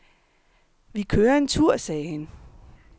Vi kører en tur, sagde han.